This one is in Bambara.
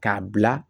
K'a bila